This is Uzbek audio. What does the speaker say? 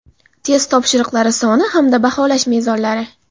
test topshiriqlari soni hamda baholash mezonlari.